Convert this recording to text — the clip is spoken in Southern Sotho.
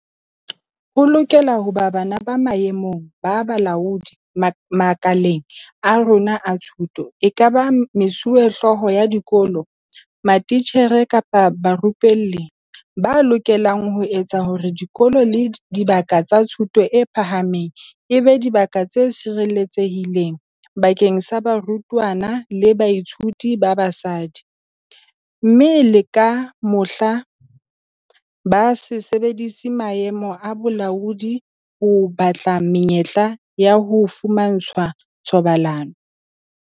Ho lokela ho ba banna ba maemong a bolaodi makaleng a rona a thuto, ekaba mesuwehlooho ya dikolo, matitjhere kapa barupelli, ba lokelang ho etsa hore dikolo le dibaka tsa thuto e phahameng e be dibaka tse sireletsehileng bakeng sa barutwana le bathuiti ba basadi, mme le ka mohla, ba se sebedise maemo a bolaodi ho batla menyetla ya ho fumantshwa thobalano.